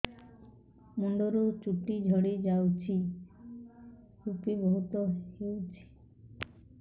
ମୁଣ୍ଡରୁ ଚୁଟି ଝଡି ଯାଉଛି ଋପି ବହୁତ ହେଉଛି